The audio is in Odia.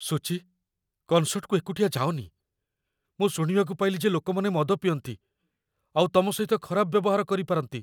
ସୁଚି, କନ୍‌ସର୍ଟକୁ ଏକୁଟିଆ ଯାଅନି । ମୁଁ ଶୁଣିବାକୁ ପାଇଲି ଯେ ଲୋକମାନେ ମଦ ପିଅନ୍ତି, ଆଉ ତମ ସହିତ ଖରାପ ବ୍ୟବହାର କରିପାରନ୍ତି ।